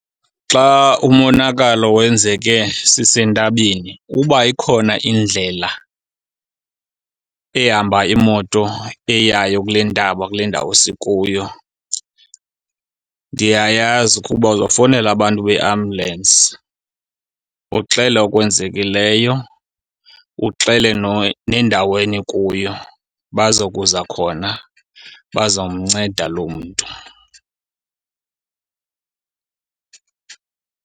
Xa umonakalo wenzeke sisentabeni uba ikhona indlela ehamba iimoto eyayo kule ntaba, kule ndawo, sikuyo, ndiyayazi ukuba uzawufowunela abantu beambulensi uxele okwenzekileyo, uxele nendawo enikuyo. Baza kuza khona bazawumnceda lo mntu.